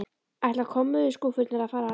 Ætla kommóðuskúffurnar að fara að heiman?